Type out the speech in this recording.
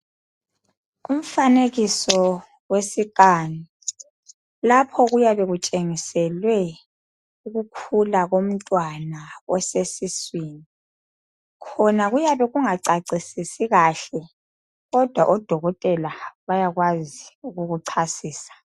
Umfanekiso wesikani lapho kuyabe kutshengisilwe ukukhula komntwana oseswini khona kuyabe kungacacisisi kahle kodwa odokotela bayakwazi ukukuchasisa.